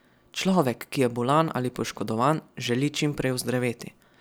Človek, ki je bolan ali poškodovan, želi čim prej ozdraveti.